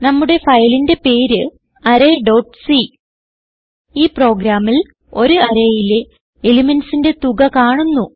നമ്മുടെ ഫയലിന്റെ പേര് arrayസി ഈ പ്രോഗ്രാമിൽ ഒരു arrayയിലെ elementsന്റെ തുക കാണുന്നു